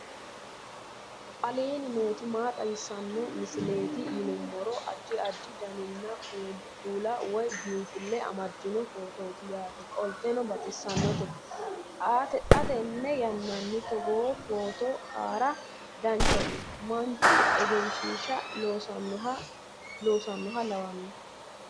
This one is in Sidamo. aleenni nooti maa xawisanno misileeti yinummoro addi addi dananna kuula woy biinfille amaddino footooti yaate qoltenno baxissannote xa tenne yannanni togoo footo haara danchate manchu egenshisha leelishannoha lawanno